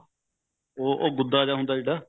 ਉਹ ਗੁੱਦਾ ਜਾ ਹੁੰਦਾ ਜਿਹੜਾ